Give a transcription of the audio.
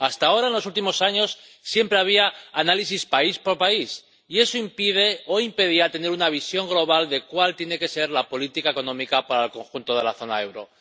Hasta ahora, en los últimos años, siempre había análisis país por país, y eso impide —o impedía— tener una visión global de cuál tiene que ser la política económica para el conjunto de la zona del euro.